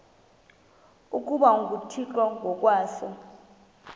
ukuba nguthixo ngokwaso